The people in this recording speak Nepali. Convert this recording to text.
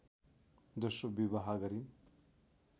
दोस्रो विवाह गरिन्